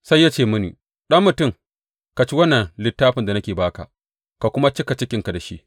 Sai ya ce mini, Ɗan mutum, ka ci wannan littafin da nake ba ka, ka kuma cika cikinka da shi.